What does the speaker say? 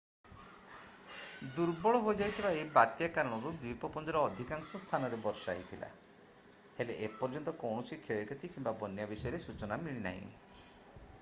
ଦୁର୍ବଳ ହୋଇଯାଇଥିବା ଏହି ବାତ୍ୟା କାରଣରୁ ଦ୍ୱୀପପୁଞ୍ଜର ଅଧିକାଂଶ ସ୍ଥାନରେ ବର୍ଷା ହୋଇଥିଲା ହେଲେ ଏପର୍ଯ୍ୟନ୍ତ କୌଣସି କ୍ଷୟକ୍ଷତି କିମ୍ବା ବନ୍ୟା ବିଷୟରେ ସୂଚନା ମିଳିନାହିଁ